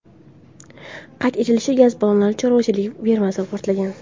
Qayd etilishicha, gaz balloni chorvachilik fermasida portlagan.